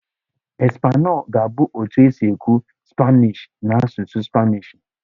"Español" ga-abụ otu esi ekwu "Spanish" n'asụsụ Spanishi.